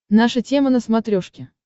наша тема на смотрешке